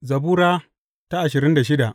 Zabura Sura ashirin da shida